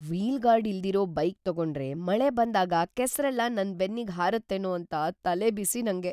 Wheel guard ಇಲ್ದಿರೋ bike ತಗೊಂಡ್ರೆ ಮಳೆ ಬಂದಾಗ ಕೆಸ್ರೆಲ್ಲ ನನ್ ಬೆನ್ನಿಗ್ ಹಾರತ್ತೇನೋ ಅಂತ ತಲೆಬಿಸಿ ನಂಗೆ.